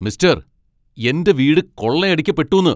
Mister, എന്റെ വീട് കൊള്ളയടിക്കപ്പെട്ടൂന്ന്.